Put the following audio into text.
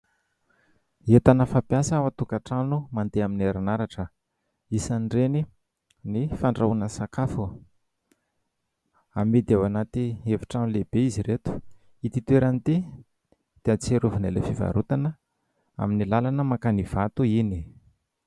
Entana fampiasa ao an-tokantrano mandeha amin'ny herinaratra. Isan'ireny ny fandrahoana sakafo. Amidy ao anaty efitrano lehibe izy ireto. Ity toerana ity dia ahatsiarovana ilay fivarotana amin'ny lalana mankany Ivato iny.